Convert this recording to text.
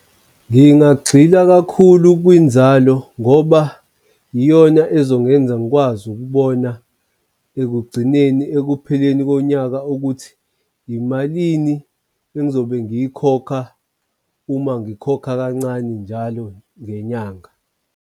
Ngingagxila kakhulu kwinzalo ngoba iyona ezongenza ngikwazi ukubona ekugcineni ekupheleni konyaka ukuthi imalini engizobe ngiyikhokha uma ngikhokha kancane njalo ngenyanga.